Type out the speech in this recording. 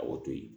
A b'o to yen